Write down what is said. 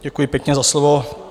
Děkuji pěkně za slovo.